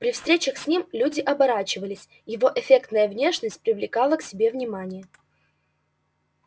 при встречах с ним люди оборачивались его эффектная внешность привлекала к себе внимание